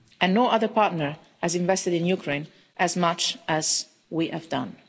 No other partner has invested in Ukraine as much as we have done.